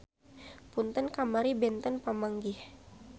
Punten kamari benten pamanggih.